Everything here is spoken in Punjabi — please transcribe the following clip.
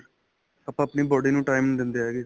ਆਪਾਂ ਆਪਣੀ body ਨੂੰ time ਨਹੀਂ ਦਿੰਦੇ ਹੈਗੇ